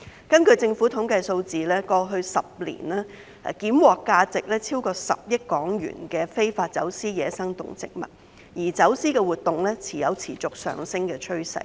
根據政府統計數字，當局在過去10年檢獲價值超過10億港元的非法走私野生動植物，而走私活動有持續上升的趨勢。